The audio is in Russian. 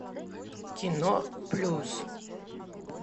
кино плюс